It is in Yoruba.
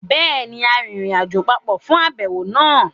Béèni, a rìnrìnàjò papọ̀ fún àbẹ̀wò náà